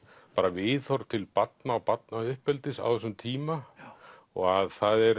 viðhorf til barna og barnauppeldis á þessum tíma og það er